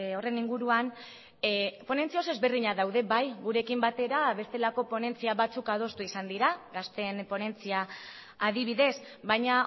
horren inguruan ponentzia oso ezberdinak daude bai gurekin batera bestelako ponentzia batzuk adostu izan dira gazteen ponentzia adibidez baina